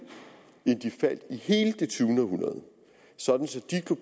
end de faldt i hele det tyvende århundrede sådan